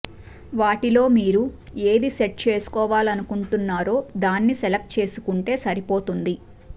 వాటిలో మీరు ఏది సెట్ చేసుకోవాలనుకుంటున్నారో దాన్ని సెలక్ట్ చేసుకుంటే సరిపోతుంది